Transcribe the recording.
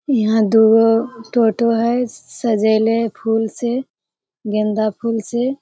यहाँ दूगो टोटो हई श सजैले हई फूल से गेंदा फूल से।